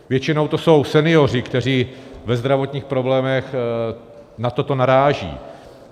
Většinou jsou to senioři, kteří ve zdravotních problémech na toto naráží.